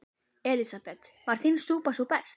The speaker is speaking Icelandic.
Elísabet: Var þín súpa sú besta?